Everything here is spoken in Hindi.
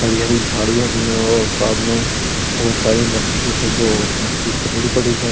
हरी हरी झाडिय भी है और सामने बहुत सारी मटी है जो मटी खदरी पड़ी है।